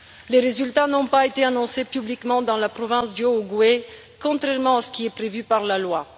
Les résultats n'ont pas été annoncés publiquement dans la province du Haut-Ogooué, contrairement à ce qui est prévu par la loi.